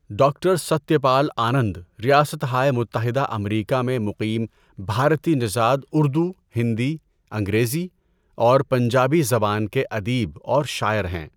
Doctor Satya Pal Anand ریاستہائے متحدہ امریکا میں مقیم بھارتی نژد اردو، ہندی، انگریزی اور پنجابی زبان کے ادیب اور شاعر ہیں۔